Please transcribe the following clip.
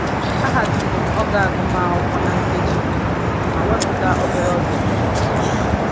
Ahaziri m oge agụmakwụkwọ na nkeji iri anọ ma wepụta obere oge m ji ezu ike